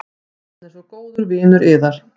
Hann er svo góður vinur yðar.